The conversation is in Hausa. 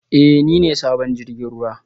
Ee, ni ne sabon jirgin ruwa